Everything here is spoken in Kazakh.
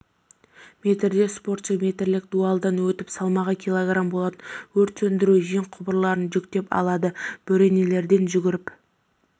метрде спортшы метрлік дуалдан өтіп салмағы кг болатын өрт сөндіру жеңқұбырларын жүктеп алады бөренелерден жүгіріп